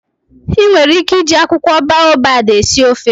I nwere ike iji akwukwo baobab esi ofe.